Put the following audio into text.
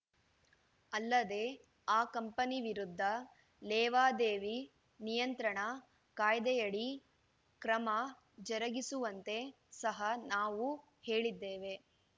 ಅಲ್ಲದೆ ಆ ಕಂಪನಿ ವಿರುದ್ಧ ಲೇವಾದೇವಿ ನಿಯಂತ್ರಣ ಕಾಯ್ದೆಯಡಿ ಕ್ರಮ ಜರುಗಿಸುವಂತೆ ಸಹ ನಾವು ಹೇಳಿದ್ದೆವು